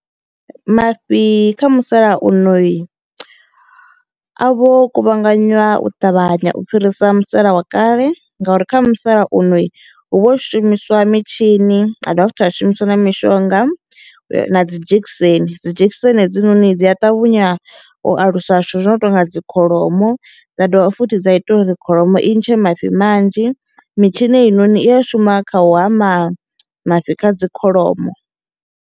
Mafhi kha musalauno i a vho kuvhanganywa u ṱavhanya u fhirisa musala wa kale ngauri kha musalaunoi hu vho shumiswa mitshini ha dovha futhi a shumisiwa na mishonga na dzi dzhekiseni, dzi dzhekiseni hedzinoni dzi a ṱavhanya u alusa zwithu zwino tonga dzi kholomo dza dovha futhi dza ita uri kholomo i ntshe mafhi manzhi. Mitshini heinoni i a shuma kha u hama mafhi kha dzi kholomo.